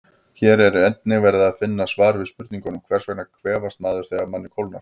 Hér er einnig að finna svar við spurningunum: Hvers vegna kvefast maður þegar manni kólnar?